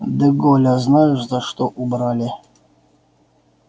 де голля знаешь за что убрали